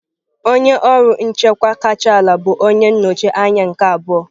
Onye ọrụ nchịkwa kacha ala bụ onye nnọchi anya nke abụọ.